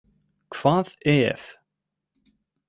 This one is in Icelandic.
Hvað EF?